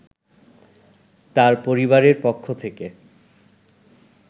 তার পরিবারের পক্ষ থেকে